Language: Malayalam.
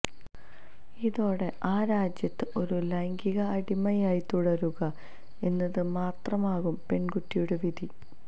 ഇതോടെ ആ രാജ്യത്ത് ഒരു ലൈംഗിക അടിമയായി തുടരുക എന്നത് മാത്രമാകും പെണ്കുട്ടിയുടെ വിധി